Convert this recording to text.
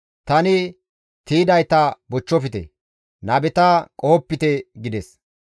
«Tani tiydayta bochchofte; nabeta qohopite» gides.